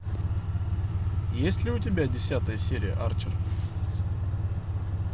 есть ли у тебя десятая серия арчер